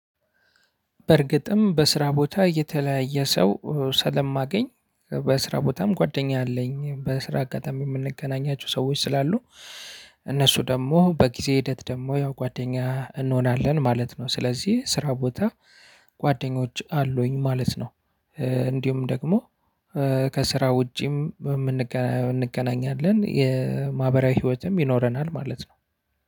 በእርግጥም በስራ ቦታ የተለያየ ሰው ስለማገኝ በስራ ቦታም ጓደኛ አለኝ በስራ አጋጣሚ የምንገናኛቸው ሰዎች ስላሉ እነሱ ደግሞ በጊዜ ሂደት ደግሞ ያው ጓደኛ እንሆናለን ማለት ነው። ስለዚህ ስራ ቦታ ጓደኞች አሉኝ ማለት ነው። እንዲሁም ደግሞ ከስራ ውጪም እንገናኛለን የማህበራዊ ህይወትም ይኖረናል ማለት ነው።